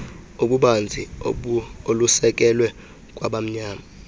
obubanzi olusekelwe kwabamnyama